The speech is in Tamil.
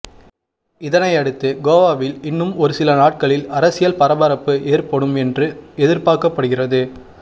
இதனை அடுத்து கோவாவில் இன்னும் ஒரு சில நாட்களில் அரசியல் பரபரப்பு ஏற்படும் என்று எதிர்பார்க்கப்படுகிறது